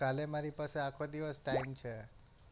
કાલે મારી પાસે આખો દિવસ ટાઇમ છે.